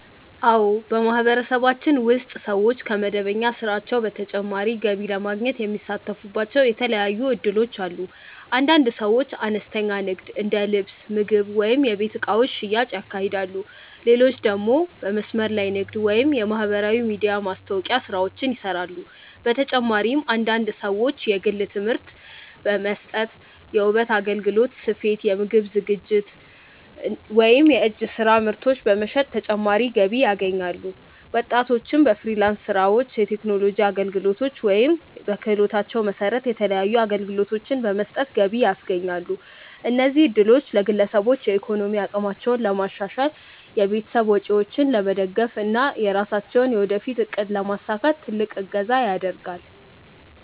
አዎ፣ በማህበረሰባችን ውስጥ ሰዎች ከመደበኛ ስራቸው በተጨማሪ ገቢ ለማግኘት የሚሳተፉባቸው የተለያዩ እድሎች አሉ። አንዳንድ ሰዎች አነስተኛ ንግድ እንደ ልብስ፣ ምግብ ወይም የቤት እቃዎች ሽያጭ ያካሂዳሉ፣ ሌሎች ደግሞ በመስመር ላይ ንግድ ወይም የማህበራዊ ሚዲያ ማስታወቂያ ስራዎችን ይሰራሉ። በተጨማሪም አንዳንድ ሰዎች የግል ትምህርት መስጠት፣ የውበት አገልግሎት፣ ስፌት፣ የምግብ ዝግጅት ወይም የእጅ ስራ ምርቶች በመሸጥ ተጨማሪ ገቢ ያገኛሉ። ወጣቶችም በፍሪላንስ ስራዎች፣ የቴክኖሎጂ አገልግሎቶች ወይም በክህሎታቸው መሰረት የተለያዩ አገልግሎቶችን በመስጠት ገቢ ያስገኛሉ። እነዚህ እድሎች ለግለሰቦች የኢኮኖሚ አቅማቸውን ለማሻሻል፣ የቤተሰብ ወጪዎችን ለመደገፍ እና የራሳቸውን የወደፊት እቅድ ለማሳካት ትልቅ እገዛ ያደርጋል።